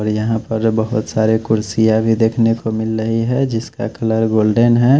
और यहां पर बहोत सारे कुर्सियां भी देखने को मिल रही है जिसका कलर गोल्डन है।